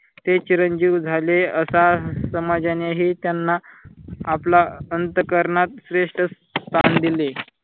ते चिरंजीवी झाले असा समाजानेही त्यांना आपल्या अंतःकरणात श्रेष्ठ स्थान दिले.